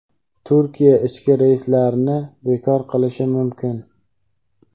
Turkiya ichki reyslarni bekor qilishi mumkin.